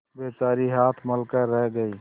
बेचारी हाथ मल कर रह गयी